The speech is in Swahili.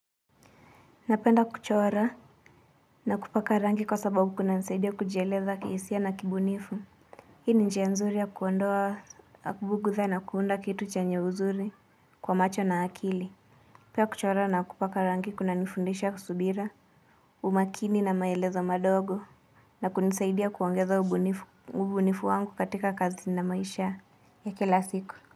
Napenda kuchora na kupaka rangi kwa sababu kunanisaidia kujieleza kihisia na kibunifu. Hii ni njia nzuri ya kuondoa bugutha na kuunda kitu chenye uzuri kwa macho na akili Pia kuchora na kupaka rangi kuna nifundisha subira, umakini na maelezo madogo na kunisaidia kuongeza ubunifu wangu katika kazi na maisha ya kila siku.